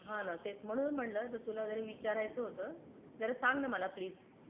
हा ना तेच म्हणूनच म्हंटलं तुला जरा विचारायचं होतं त्याला सांग ना मला प्लीज.